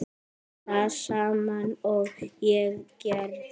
Það sama og ég gerði.